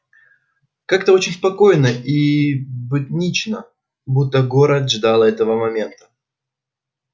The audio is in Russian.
как-то очень спокойно и буднично будто город ждал этого момента